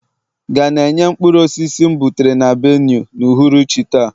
ga na-enye mkpụrụ osisi m butere na Benue n'uhuruchi taa